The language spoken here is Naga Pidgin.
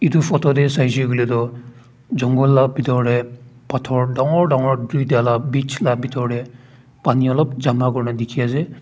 tu photo tey saishe kuile toh jungle la bitor tey pathor dangor dangor duita la bich la bitor tey paninolop jama kurina dikhi ase.